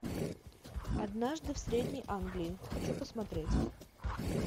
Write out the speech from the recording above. однажды в средней англии хочу посмотреть